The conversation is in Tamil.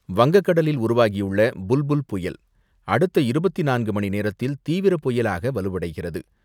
வங்கக்கடலில் உருவாகியுள்ள புல் புல் புயல், அடுத்த இருபத்து நான்கு மணிநேரத்தில் தீவிர புயலாக வலுவடைகிறது.